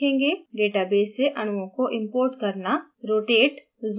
इस tutorial में हम सीखेगे: database से अणुओं को import करना